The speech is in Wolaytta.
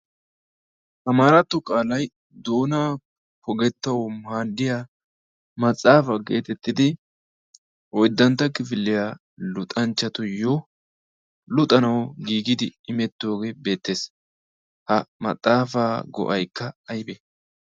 Amaaratto qaalay doona pogettawu maaddiya maxaafa geetettidi oyddantta kifilliyaa luxanchchatuyyo luxanawu giigidi imettoogee beettees. Ha maxaafaa go'aykka aybee?